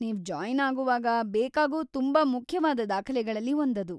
ನೀವು ಜಾಯ್ನ್‌ ಆಗೋವಾಗ ಬೇಕಾಗೋ ತುಂಬಾ ಮುಖ್ಯವಾದ ದಾಖಲೆಗಳಲ್ಲಿ ಒಂದದು.